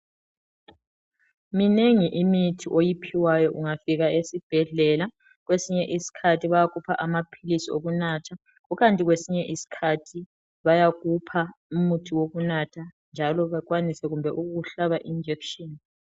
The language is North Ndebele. Minengi imithi oyiphiwayo ungafika esibhedlela, kwesinye isikhathi bayakupha amaphilisi okunatha, ukanti kwesinye isikhathi bayakupha umuthi wokunatha njalo bakwanise kumbe ukukuhlaba ijekiseni.